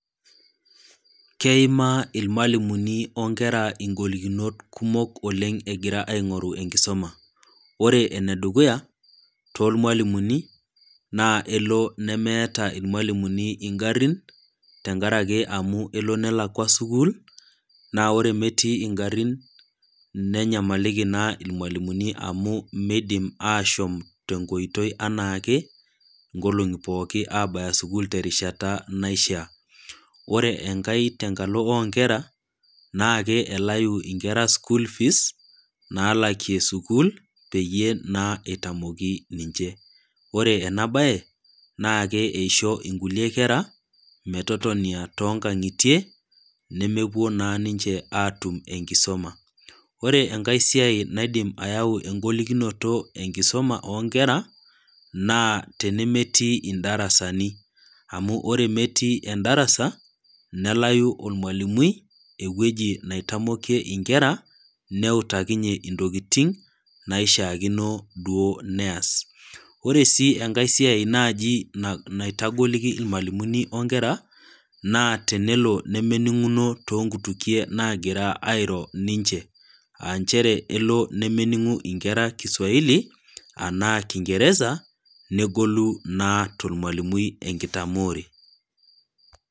Keimaa ilmwalimuni o nkera ingolikinot kumok oleng' egira aing'oru enkisuma. Ore ene dukuya, too ilwalimuni, naa elo nemeata ilmwalimuni ing'arin, tenkaraki elo nelakwa sukuul, naa ore metii ingarin nenyamaliki naa ilwalimuni amu, meidim aashom tenkoitoi anaake, inkolong'i pooki abaya te erishata naishaa. Ore enkai tenkalo o nkera naake elayu inkera school fees naalakie sukuul peyie naa eitamoki ninche. Ore ena baye, naake eisho inkulie kera, metotonia too inkang'itie, nemewuo naa ninche aatum enkisuma. Ore enkai siai naidim ayau eng'olikinoto tiatua enkisuma oo nkera naa tenemetii indarasani, amu ore metii endarasa, nelayu olmwalimui ewuwji naitamokie inkera, neutakinye intokitin naishaakino duo neas. Ore sii enkai siai naaji naitagoliki ilmwalimuni o nkera naa tenelo nemening'uno too nkutukie naagira airo ninche, aa nchere elo ne, nemening'u inkera Kiswahili anaa Kingeresa negolu naa tolmwalimui enkitamoore.